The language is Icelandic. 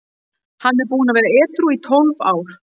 Hann er búinn að vera edrú í tólf ár.